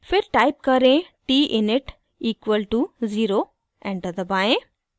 फिर टाइप करें: t init equal to zero enter दबाएं